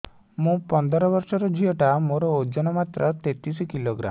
ମୁ ପନ୍ଦର ବର୍ଷ ର ଝିଅ ଟା ମୋର ଓଜନ ମାତ୍ର ତେତିଶ କିଲୋଗ୍ରାମ